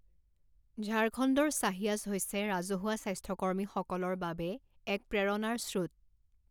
ঝাৰখণ্ডৰ ছাহিয়াছ হৈছে ৰাজহুৱা স্বাস্থ্য কৰ্মীসকলৰ বাবে এক প্ৰেৰণাৰ স্ৰোত